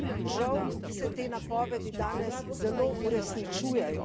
Žal se te napovedi danes zelo uresničujejo.